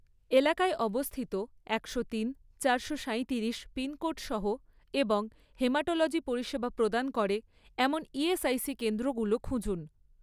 এলাকায় অবস্থিত একশো তিন, চারশো সাইতিরিশ পিনকোড সহ এবং হেমাটোলজি পরিষেবা প্রদান করে এমন ইএসআইসি কেন্দ্রগুলো খুঁজুন